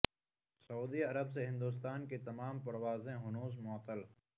سعودی عرب سے ہندوستان کی تمام پروازیں ہنوز معطل